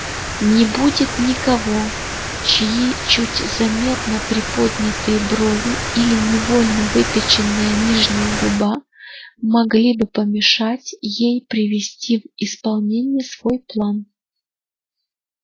не будет никого чьи чуть заметно приподнятые брови или невольно выпяченная нижняя губа могли бы помешать ей привести в исполнение свой план